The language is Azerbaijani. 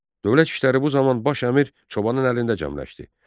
Dövlət işləri bu zaman baş əmir Çobanın əlində cəmləşdi.